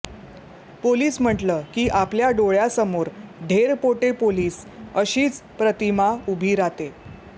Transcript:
police म्हटल की आपल्या डोळ्यासमोर ढेरपोटे पोलीस अशीच प्रतिमा उभी राहते